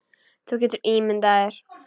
Þú getur ímyndað þér.